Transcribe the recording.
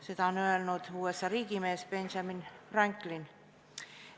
Seda on öelnud USA riigimees Benjamin Franklin.